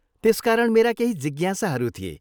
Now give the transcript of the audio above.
त्यसकारण मेरा केही जिज्ञासाहरू थिए।